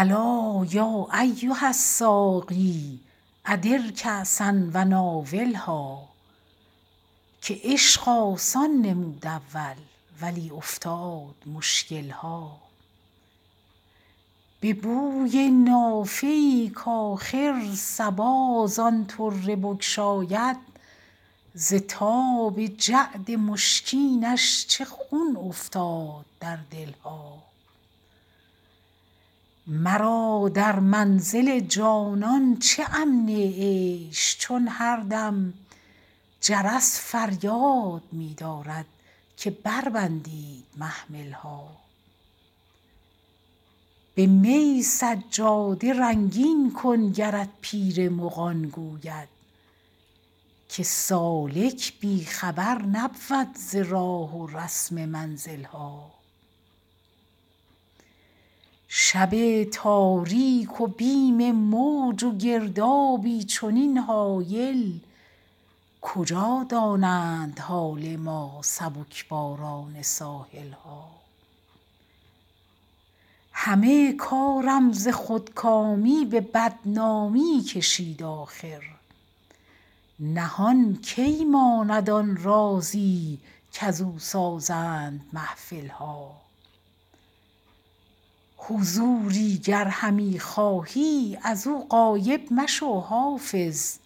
الا یا ایها الساقی ادر کأسا و ناولها که عشق آسان نمود اول ولی افتاد مشکل ها به بوی نافه ای کآخر صبا زان طره بگشاید ز تاب جعد مشکینش چه خون افتاد در دل ها مرا در منزل جانان چه امن عیش چون هر دم جرس فریاد می دارد که بربندید محمل ها به می سجاده رنگین کن گرت پیر مغان گوید که سالک بی خبر نبود ز راه و رسم منزل ها شب تاریک و بیم موج و گردابی چنین هایل کجا دانند حال ما سبک باران ساحل ها همه کارم ز خودکامی به بدنامی کشید آخر نهان کی ماند آن رازی کزو سازند محفل ها حضوری گر همی خواهی از او غایب مشو حافظ